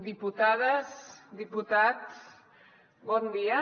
diputades diputats bon dia